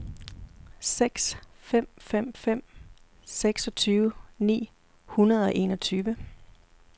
seks fem fem fem seksogtyve ni hundrede og enogtyve